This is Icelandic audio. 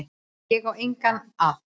Ég á enga að.